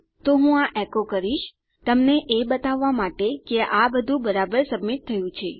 તો હું આ એકો કરીશ તમને એ બતાવવા માટે કે આ બધું બરાબર સબમિટ થયું છે